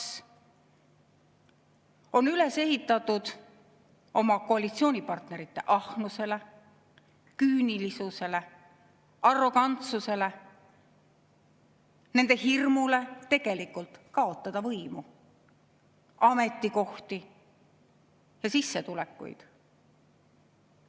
See on üles ehitatud oma koalitsioonipartnerite ahnusele, küünilisusele, arrogantsusele, nende hirmule tegelikult kaotada võimu, ametikohti ja sissetulekuid.